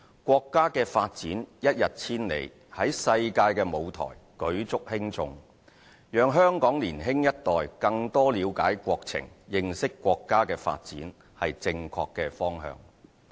國家的發展一日千里，在世界的舞台舉足輕重，讓香港年輕一代更多了解國情，認識國家的發展，是正確的方向。